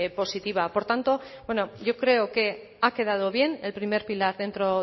positiva por tanto bueno yo creo que ha quedado bien el primer pilar dentro